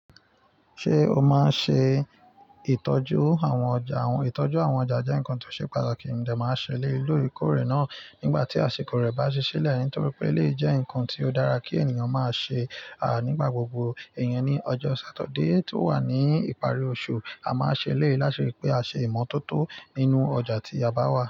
Ṣé o máa ń ṣe ìtọ́jú àwọn ọjà? Ìtọ́jú àwọn ọjà jẹ́ nǹkan tó ṣe pàtàkì, mo de máa ṣẹ eleyii. Lore kórè náà, nígbà tí àsìkò rẹ̀ bá ṣí sílẹ̀, nítorí pé lè jẹ́ ǹkan tí ó dára kí ènìyàn máa ṣe nígbà gbogbo. Ìyẹn ni ọjọ́ Satuday tó wà ní ìparí oṣù, a máa ṣẹ eleyìí lati ri pé a ṣe ìmọ̀tótó nínú ọjà tí a bá wà.